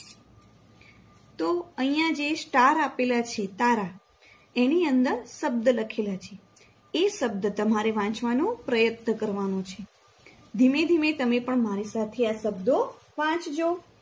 તો અહિયાં જે star આપેલા છે તારા એની અંદર શબ્દ લખેલા છે ધીમે ધીમે તમે પણ મારી સાથે આ શબ્દો વાંચજો.